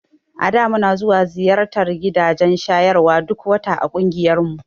A da muna ziyartar gidajen shayarwa duk wata a ƙungiyarmu.